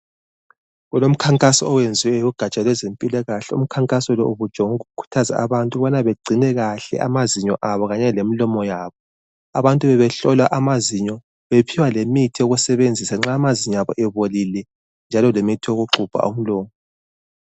Kulomkhankaso owenzwe lugatsha lwezempilakahle. Umkhankaso lo ubujonge ukukhuthaza abantu ukubana bagcine kahle amazinyo abo kanye lemilomo yabo. Abantu bebehlola amazinyo bephiwa lemithi yokusebenzisa nxa amazinyo abo ebolile njalo lemithi yokuxubha umlomo.